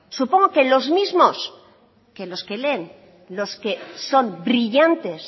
supongo que en los mismos que los que leen los que son brillantes